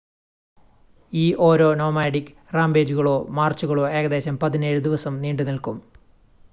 ഈ ഓരോ നോമാഡിക് റാമ്പേജുകളോ മാർച്ചുകളോ ഏകദേശം 17 ദിവസം നീണ്ടുനിൽക്കും